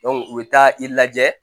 u bɛ taa i lajɛ